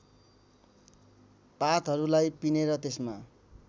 पातहरूलाई पिनेर त्यसमा